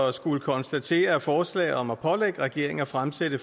at skulle konstatere at forslaget om at pålægge regeringen at fremsætte